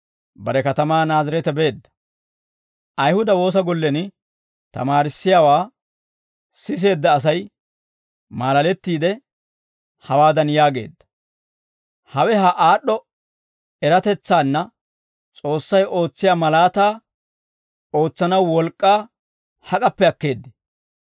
bare katamaa Naazireete beedda. Ayihuda woosa gollen tamaarissiyaawaa siseedda Asay maalalettiide, hawaadan yaageedda; «Hawe ha aad'd'o eratetsaanne S'oossay ootsiyaa malaataa ootsanaw wolk'k'aa hak'appe akkeeddee?